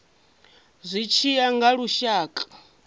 zwi tshi ya nga lushaka